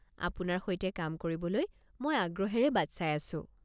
আপোনাৰ সৈতে কাম কৰিবলৈ মই আগ্ৰহেৰে বাট চাই আছো।